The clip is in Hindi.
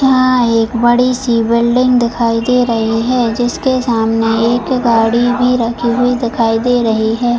यहाँ एक बड़ी सी बिल्डिंग दिखाई दे रही है जिसके सामने एक गाड़ी भी रखी हुई दिखाई दे रही है।